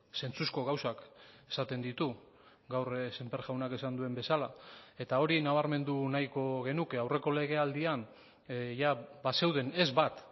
zentzuzko gauzak esaten ditu gaur sémper jaunak esan duen bezala eta hori nabarmendu nahiko genuke aurreko legealdian bazeuden ez bat